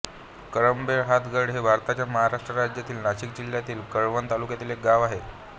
करंभेळहातगड हे भारताच्या महाराष्ट्र राज्यातील नाशिक जिल्ह्यातील कळवण तालुक्यातील एक गाव आहे